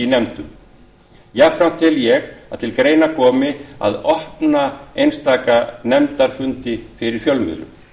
nefndum jafnframt tel ég að til greina komi að opna einstaka nefndarfundi fyrir fjölmiðlum